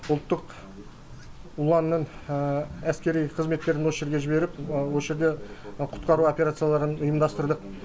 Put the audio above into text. ұлттық ұланның әскери қызметтерін осы жерге жіберіп осы жерде құтқару операцияларын ұйымдастырдық